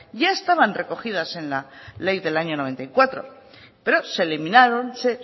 ya estaban recogidas en la ley del año noventa y cuatro pero se eliminaron se